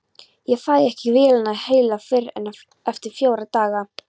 Ég fæ ekki vélina heila fyrr en eftir fjóra daga.